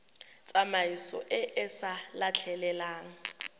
tsamaiso e e sa letleleleng